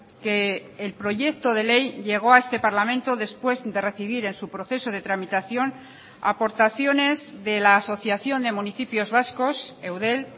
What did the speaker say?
que el proyecto de ley llegó a este parlamento después de recibir en su proceso de tramitación aportaciones de la asociación de municipios vascos eudel